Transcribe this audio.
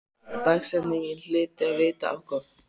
Dagsetningin hlyti að vita á gott.